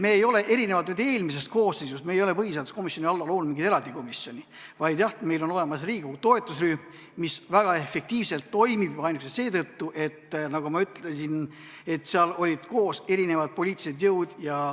Me ei ole – erinevalt eelmisest koosseisust – põhiseaduskomisjoni alla loonud mingit eraldi komisjoni, vaid jah, meil on olemas riigireformi toetusrühm, mis väga efektiivselt toimib, seda ainuüksi seetõttu, nagu ma ütlesin, et seal olid koos erinevad poliitilised jõud.